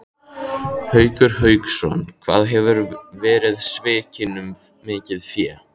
Haukur Hauksson: Hvað hefurðu verið svikinn um mikið fé?